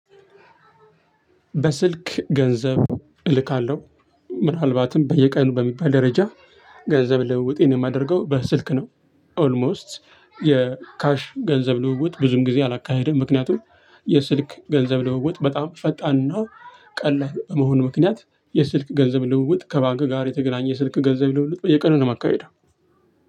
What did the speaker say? በስልክ ገንዘብ እልካለሁ ምናልባትም በየቀኑ በሚባል ደረጃ ገንዘብ ልውውጥ የማደርገው በስልክ ነው። ኦልሞስት የካሽ ገንዘብ ልውውጥ ብዙም ጊዜ አላካሄድም። ምክንያቱም የስልክ ገንዘብ ልውውጥ በጣም ፈጣንና ቀላል በመሆኑ ምክንያት የስልክ ገንዘብ ልውውጥ ከባንክ ጋር የተገናኘ ስልክ ገንዘብ ልውውጥ የቀነ ነው የማካህደው።